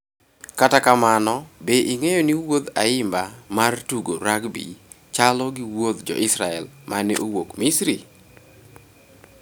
Kata kamano be ing'eyo ni wuodh Ayimba mar tugo rugby chalo gi wuodh Jo-Israel ma ne owuok Misri?